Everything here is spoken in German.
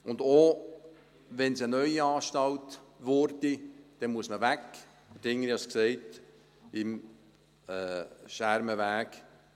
Auch wenn es eine neue Anstalt würde, muss man weg vom Schermenweg, ich habe es gesagt.